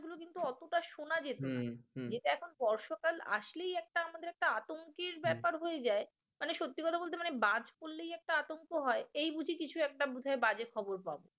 কিন্তু এতটা শোনা যেত না যেটা এখন বর্ষাকাল আসলেই একটা আমাদের একটা আতঙ্কের ব্যাপার হয়ে যায়। মানে সত্যি কথা বলতে মানে বাজ পড়লেই একটা আতঙ্ক হয় এই বুঝি কিছু একটা বোধয় বাজে খবর পাব।